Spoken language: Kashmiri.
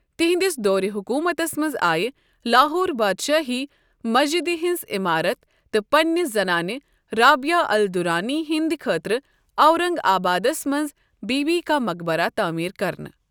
تہنٛد س دورِ حکومتس منز آیہ لاہور بادشاہی مسجِدِ ہنٛز عِمارت تہٕ پننہٕ زنانہٕ رابعہ الدُرانی ہندِ خٲطرٕ اورن٘گ آبادس منٛز بی بی کا مقبرہ تعمیر كرنہٕ ۔